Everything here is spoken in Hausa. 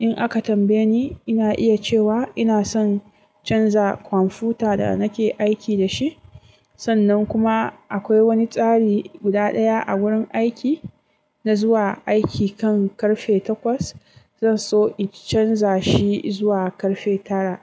In aka tambaye ni, ina iya cewa ina son canza kwamfuta da nake aiki da shi. Sannan kuma akwai wani tsari guda ɗaya a wurin aiki, na zuwa aiki kan karfe takwas, zan so in canza shi zuwa karfe tara.